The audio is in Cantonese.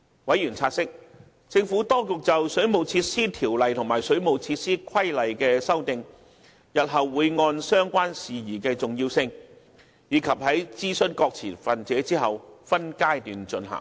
委員察悉，政府當局就《水務設施條例》及《水務設施規例》提出的修訂，日後會按相關事宜的重要性及在諮詢各持份者後分階段進行。